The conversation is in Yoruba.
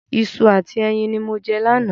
Iṣu àti ẹyin ní mo jẹ lánàá